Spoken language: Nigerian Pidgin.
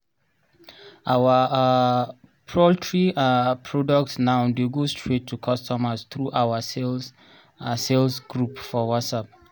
our um poultry um product now dey go straight to customers through our sales sales group for whatsapp